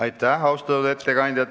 Aitäh, austatud ettekandja!